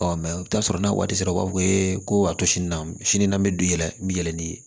Ɔ o t'a sɔrɔ n'a waati sera u b'a fɔ ko a to sini na sini n'an bɛ don yɛlɛ n bɛ yɛlɛn ni